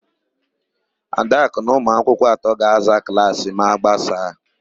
Adakụ na ụmụakwụkwọ atọ ga-aza klaasị ha ma a gbasaa.